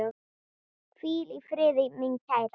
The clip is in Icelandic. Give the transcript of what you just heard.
Hvíl í friði, mín kæra.